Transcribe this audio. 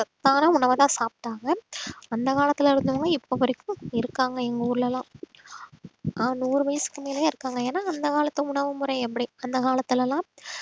சத்தான உணவைதான் சாப்பிட்டாங்க அந்த காலத்துல இருந்தவங்க இப்ப வரைக்கும் இருக்காங்க எங்க ஊர்ல எல்லாம் ஆஹ் நூறு வயசுக்கு மேலேயே இருக்காங்க ஏன்னா அந்த காலத்து உணவுமுறை எப்படி அந்த காலத்தில எல்லாம்